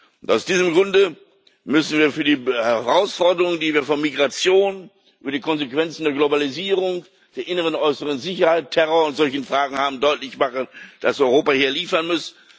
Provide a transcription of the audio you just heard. Und aus diesem Grunde müssen wir für die Herausforderungen, die wir von Migration über die Konsequenzen der Globalisierung bis hin zur inneren und äußeren Sicherheit, Terror und solchen Fragen haben, deutlich machen, dass Europa hier liefern muss.